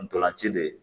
Ntolan ci de